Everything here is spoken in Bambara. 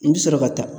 I bɛ sɔrɔ ka taa